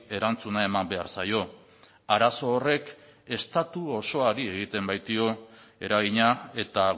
erantzuna eman behar zaio arazo horrek estatu osoari egiten baitio eragina eta